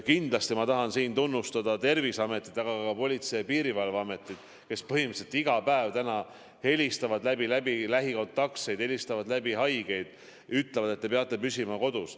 Kindlasti ma tahan siin tunnustada Terviseametit, aga ka Politsei- ja Piirivalveametit, kes põhimõtteliselt iga päev helistavad läbi lähikontaktseid, helistavad läbi haigeid ja ütlevad, et te peate püsima kodus.